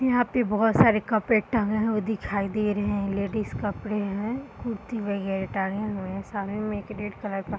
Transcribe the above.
यहाँ पर बहुत सारे कपड़े टंगे हुए दिखाई दे रहे हैं लेडीज कपड़े हैं कुर्ती वैगरह टंगे हुआ है साड़ी में रेड कलर का।